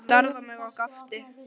Hann starði á mig og gapti.